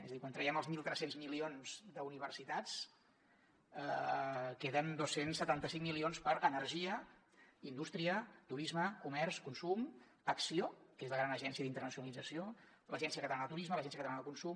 és a dir quan traiem els mil tres cents milions d’universitats queden dos cents i setanta cinc milions per a energia indústria turisme comerç consum acció que és la gran agència d’internacionalització l’agència catalana de turisme l’agència catalana de consum